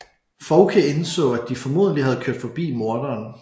Fouke indså at de formodentlig havde kørt forbi morderen